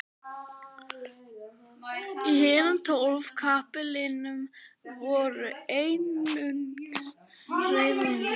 Í hinum tólf kapellunum voru einungis hreyfanlegir íkonar.